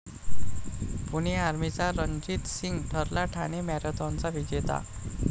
पुणे आर्मीचा रणजित सिंग ठरला ठाणे मॅरेथॉनचा विजेता